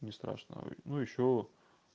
не страшно ну ещё